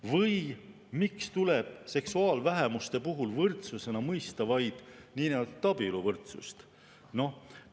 Või miks tuleb seksuaalvähemuste puhul võrdsusena mõista vaid niinimetatud abieluvõrdsust?